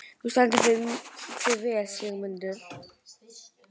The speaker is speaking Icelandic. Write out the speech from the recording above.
Þú stendur þig vel, Sigurmundur!